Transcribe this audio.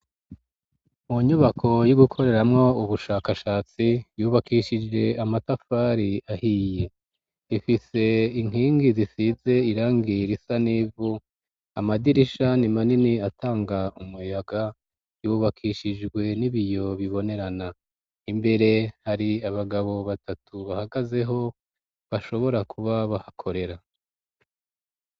Mu kigo c'amashure yisumbuye ishure ryubatse neza n'amatafari ahiye ku nkingi hamwe n'amadirisha n'inzugi hamwe hasize irangi ry'ubururu handi na ho niranga iryera imbere hari uduti bateye tukiri duto o gushariza ikigo hasi na ho raharuye nta vyatsi bihari.